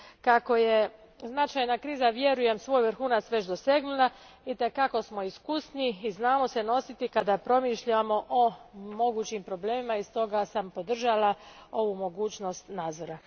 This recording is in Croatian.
Kako je značajna kriza, vjerujem, svoj vrhunac već dosegnula itekako smo iskusniji i znamo se nositi kada promišljamo o mogućim problemima te sam stoga podržala ovu mogućnost nadzora.